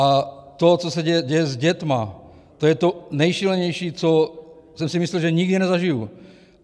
A to, co se děje s dětma, to je to nejšílenější, co jsem si myslel, že nikdy nezažiju.